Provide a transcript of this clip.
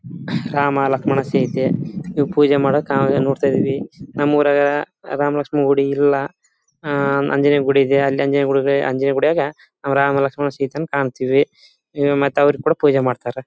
ರಾಮ ಲಕ್ಷ್ಮಣ ಸೀತೆ ಇವು ಪೂಜೆ ಮಾಡೋಕ್ ನಾವೆಲ್ಲ ನೋಡ್ತಿದೀವಿ. ನಮ್ ಉರಗ ರಾಮ ಲಕ್ಷ್ಮಣ ಗುಡಿ ಇಲ್ಲಾ ಆಂಜನೇಯ ಗೂಡು ಇದೆ ಅಲ್ಲಿ ಆಂಜನೇಯ ಗುಡಿಯಾಗ ರಾಮ ಲಕ್ಷ್ಮಣ ಸೀತೆನ್ ಕಂತೀವಿ ಮತ್ತೆ ಅವ್ರಿಗ್ ಕೂಡ ಪೂಜೆ ಮಾಡ್ತಾರೆ .